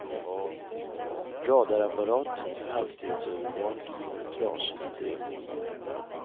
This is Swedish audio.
Radarapparaten för hastighetsövervakning har varit trasig i tre månader.